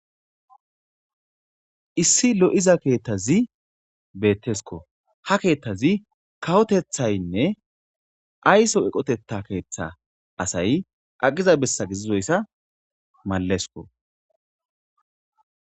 Issi lo'iza ketazzi betesikko .haa ketazzi kawoteththayinne ayisso eqoteththa keththa asayi aqiza besa gididoyissa malessikko